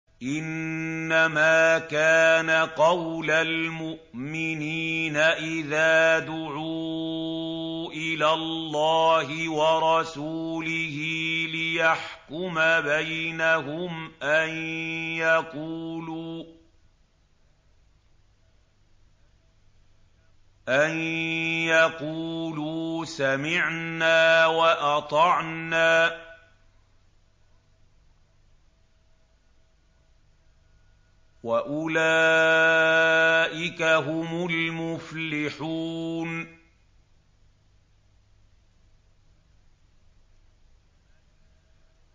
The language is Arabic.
إِنَّمَا كَانَ قَوْلَ الْمُؤْمِنِينَ إِذَا دُعُوا إِلَى اللَّهِ وَرَسُولِهِ لِيَحْكُمَ بَيْنَهُمْ أَن يَقُولُوا سَمِعْنَا وَأَطَعْنَا ۚ وَأُولَٰئِكَ هُمُ الْمُفْلِحُونَ